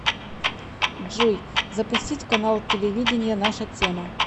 джой запустить канал телевидения наша тема